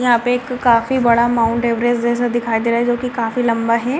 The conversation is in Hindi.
यहाँ पे काफी बड़ा माउन्ट एवरेस्ट जैसा दिखाई दे रहे है जो की काफी लंबा है।